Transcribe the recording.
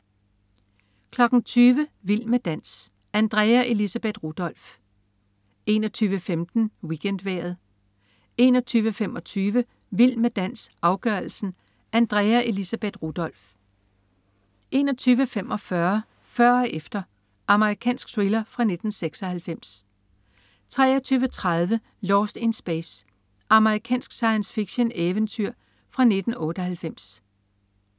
20.00 Vild med dans. Andrea Elisabeth Rudolph 21.15 WeekendVejret 21.25 Vild med dans, afgørelsen. Andrea Elisabeth Rudolph 21.45 Før og efter. Amerikansk thriller 1996 23.30 Lost in Space. Amerikansk science fiction-eventyr fra 1998